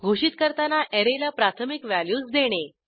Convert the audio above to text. घोषित करताना अॅरेला प्राथमिक व्हॅल्यूज देणे